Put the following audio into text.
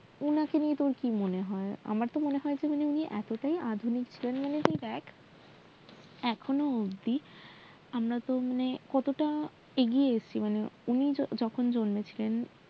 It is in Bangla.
ওনাকে নিয়ে তোর কি মনে হয় আমার তহ মনে হয় যে উনি এতটাই আধুনিক ছিলেন যে দেক এখনও অব্দি আমরা ওহ মানে কতটা এগিয়ে এসেছি উনি যখন জন্মে ছিলেন